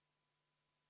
Aitäh, auväärt juhataja!